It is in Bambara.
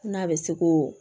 N'a bɛ se ko